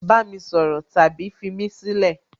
bami soro tabi fimí sílẹ̀!